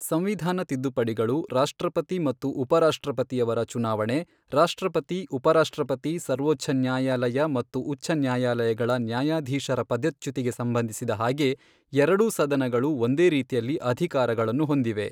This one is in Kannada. ಸಂವಿಧಾನ ತಿದ್ದುಪಡಿಗಳು ರಾಷ್ಟ್ರಪತಿ ಮತ್ತು ಉಪರಾಷ್ಟ್ರಪತಿಯವರ ಚುನಾವಣೆ ರಾಷ್ಟ್ರಪತಿ ಉಪರಾಷ್ಟ್ರಪತಿ ಸರ್ವೋಚ್ಛ ನ್ಯಾಯಾಲಯ ಮತ್ತು ಉಚ್ಛನ್ಯಾಯಾಲಯಗಳ ನ್ಯಾಯಾಧೀಶರ ಪದಚ್ಯುತಿಗೆ ಸಂಬಂಧಿಸಿದ ಹಾಗೆ ಎರಡೂ ಸದನಗಳು ಒಂದೇ ರೀತಿಯಲ್ಲಿ ಅಧಿಕಾರಗಳನ್ನು ಹೊಂದಿವೆ.